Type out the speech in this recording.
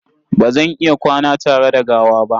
Ba zan iya kwana tare da gawa ba.